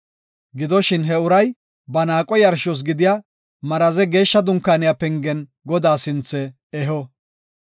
Gidoshin, he uray ba naaqo yarshos gidiya maraze Geeshsha Dunkaaniya pengen Godaa sinthe eho.